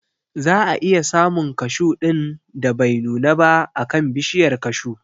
Za a iya samun kashu ɗin da bai nuna ba a kan bishiyar kashu